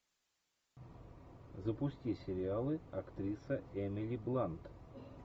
запусти сериалы актриса эмили блант